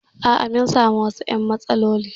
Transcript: A'a, mun sami wasu "yan matsaloli